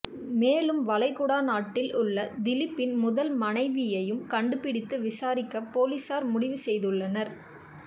மேலும் வளைகுடா நாட்டில் உள்ள திலீப்பின் முதல் மனைவியையும் கண்டுபிடித்து விசாரிக்க போலீசார் முடிவு செய்துள்ளனர்